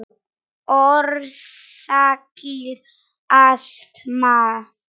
Orsakir astma